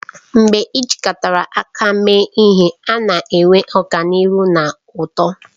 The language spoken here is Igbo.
Mgbe ị jikọrọ aka mee ihe, a na-enwe ọganihu na uto